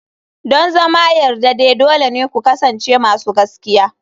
Don zama yardade dole ne ku kasance masu gaskiya.